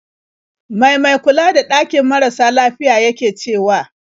Mai mai kula da ɗakin marasa lafiyar yake cewa?